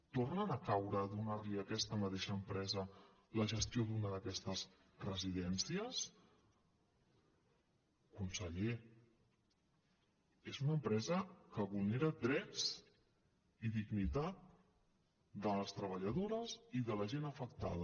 tornen a caure a donar li a aquesta mateixa empresa la gestió d’una d’aquestes residències conseller és una empresa que vulnera drets i dignitat de les treballadores i de la gent afectada